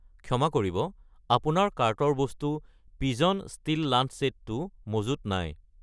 ক্ষমা কৰিব, আপোনাৰ কাৰ্টৰ বস্তু পিজন ষ্টীল লাঞ্চ চেট টো মজুত নাই